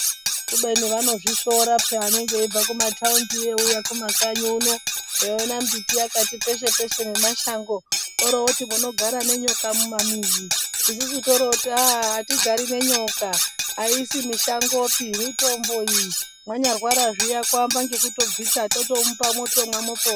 Kubeni vanozvi shora peya vanenge veibva ku mataundi eyi uya ku makanyi uno eyi ona mbiti yakati peshe peshe ne mashango ori oti munogara ne nyoka muma mizi isusu tori woti aaa atigari ne nyoka ayisi mishango pii mitombo iyi manya rwara zviya ku amba ngekuto bvita totomupa mwotomwa mopora.